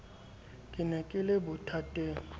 ke ne ke le bothateng